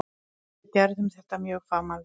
Við gerðum þetta mjög fagmannlega.